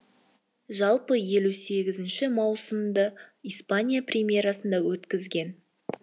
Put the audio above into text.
жалпы елу сегізінші маусымды испания примерасында өткізген